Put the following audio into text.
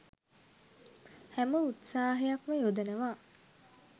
හැම උත්සාහයක්ම යොදනවා.